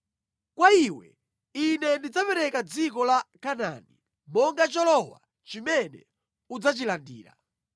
“Kwa iwe, ine ndidzapereka dziko la Kanaani monga cholowa chimene udzachilandira.”